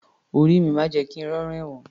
Orí mi má jẹ̀ kí n rí ọ̀ràn ẹ̀wọ̀n